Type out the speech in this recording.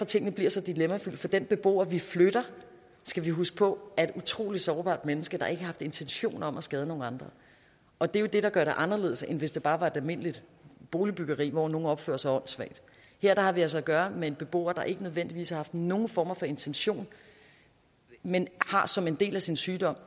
tingene bliver så dilemmafyldte for den beboer vi flytter skal vi huske på er et utrolig sårbart menneske der ikke har haft intentioner om at skade nogle andre og det er jo det der gør det anderledes end hvis det bare var et almindeligt boligbyggeri hvor nogle opførte sig åndssvagt her har vi altså at gøre med en beboer der ikke nødvendigvis har haft nogen form for intention men som en del af sin sygdom